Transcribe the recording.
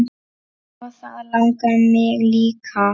Og það langar mig líka.